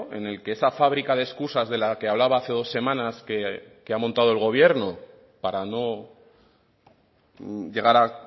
en el que esa fábrica de excusas de la que hablaba hace dos semanas que ha montado el gobierno para no llegar a